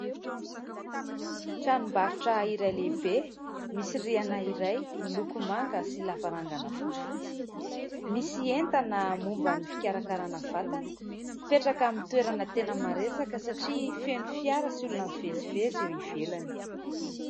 Tranom-barotra iray lehibe : misy rihana iray, miloko manga sy lavarangana fotsifotsy, misy entana momba ny fikarakarana vatana ; mipetraka amin'ny toerana tena maresaka satria feno fiara sy olona mivezivezy eo ivelany.